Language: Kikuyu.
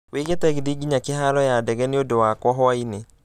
wiĩge tegithi nginya kĩharo ya ndege nĩ ũndũ wakwa hwaĩinĩ